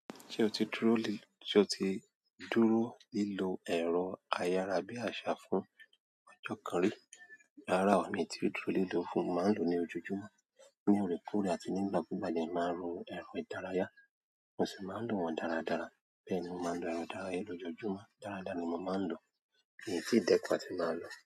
Ṣé o ti dúró ri, ṣe o ti dúró lílo ẹ̀rọ ayára bí àṣà fún ọjọ́ kan rí? Rárá o, mi ò tí ì dúró lílọ fún. Mo máa ń lò ó ní ojojúmọ́. Ní òrekoore àti nígbà kúùgbà jẹ́ máa ń lo ẹ̀rọ ìdárayá, mo sì máa ń lò wọ́n dáradára. Bẹ́ẹ̀ ni mo máa ń lo ẹ̀rọ ìdárayá ní ojojúmọ́. Dáradára ni mo máa ń lò ó kìíní tí ì dékan tí máa lò ó.